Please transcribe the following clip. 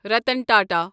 Ratan Tata